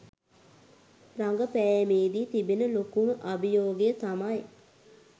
රගපෑමේදී තිබෙන ලොකුම අභියෝගය තමයි